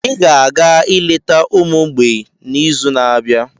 Ị ga-aga ileta ụlọ ụmụ mgbei n'izu na-abịa.